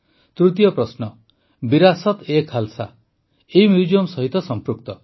ତୃତୀୟ ପ୍ରଶ୍ନ ବିରାସତ୍ଏଖାଲ୍ସା ଏହି ମ୍ୟୁଜିୟମ୍ ସହିତ ସଂପୃକ୍ତ